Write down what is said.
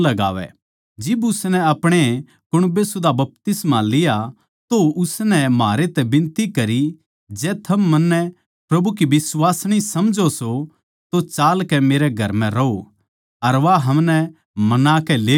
जिब उसनै अपणे कुण्बै सुदा बपतिस्मा लिया तो उसनै म्हारै तै बिनती करी जै थम मन्नै प्रभु की बिश्वासिणी समझो सो तो चालकै मेरै घर म्ह रहो अर वा हमनै मनाकै ले गई